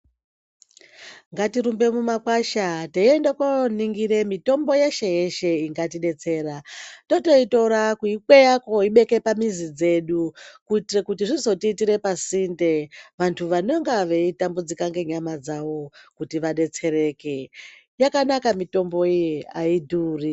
Ngatirumbe mumakwasha teyienda kuno ningira mitombo yeshe yeshe ingatidetsera totoyitora kuyikweya kuwoyibeke pamizi dzedu kuitira kuti zvizotiitira pasinde vantu vanonga veidambudzoka nenyama dzavo kuti vadetsereke yakanaka mitombo iyi hayidhuri.